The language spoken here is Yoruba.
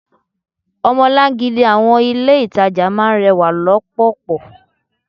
Omolan-gidi àwọn ilé itàjà máa ń rẹwà lọpọlọpọ.